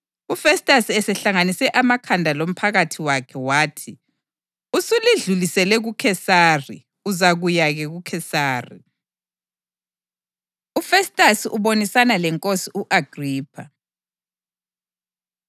UFestasi esehlanganise amakhanda lomphakathi wakhe, wathi, “Usulidlulisele kuKhesari. Uzakuya-ke kuKhesari!” UFestasi Ubonisana LeNkosi U-Agripha